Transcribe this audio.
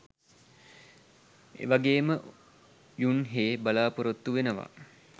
එවගේම යුන්හෙ බලාපොරොත්තු වෙනවා